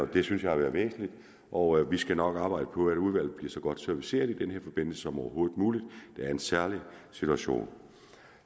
det synes jeg har været væsentligt og vi skal nok arbejde på at udvalget bliver så godt serviceret som overhovedet muligt det er en særlig situation